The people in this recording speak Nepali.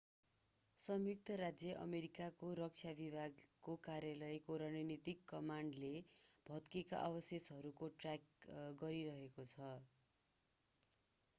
संयुक्त राज्य अमेरिकाको रक्षा विभागको कार्यालयको रणनीतिक कमान्डले भत्केका अवशेषहरूको ट्र्याक गरिरहेको छ